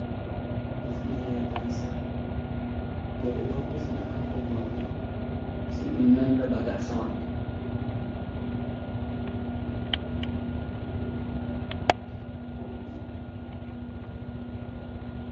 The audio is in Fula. Hufneyai gasa. Rowɓe ɗon hufna ha hore maɓɓe, se ɗum nanda ba gasa maɓɓe.